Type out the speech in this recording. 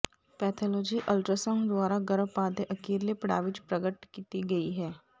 pathology ultrasound ਦੁਆਰਾ ਗਰਭਪਾਤ ਦੇ ਅਖੀਰਲੇ ਪੜਾਅ ਵਿੱਚ ਪ੍ਰਗਟ ਕੀਤੀ ਗਈ ਹੈ